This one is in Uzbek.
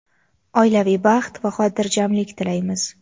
oilaviy baxt va hotirjamlik tilaymiz!.